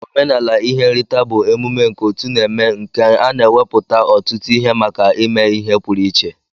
Omenala ihe nrita bu emume nke otu na eme nke ana eweputa otutu ihe maka ime ihe purụ iche.